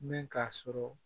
Ne k'a sɔrɔ